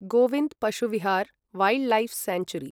Govind Pashu Vihar wildlife sanctuary